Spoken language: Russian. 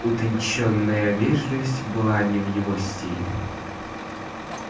утончённая вежливость была не в его стиле